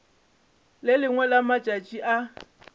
le lengwe la matšatši o